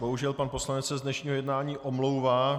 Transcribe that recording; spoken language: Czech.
Bohužel pan poslanec se z dnešního jednání omlouvá.